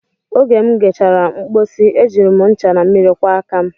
Oge m gachara mpochi, e jiri m ncha na mmiri kwọọ aka m